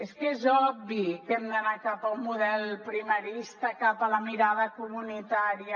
és que és obvi que hem d’anar cap a un model primarista cap a la mirada comunitària